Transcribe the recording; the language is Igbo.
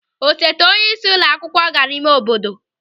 Osote onyeisi ụlọ akwụkwọ gara ịme obodo.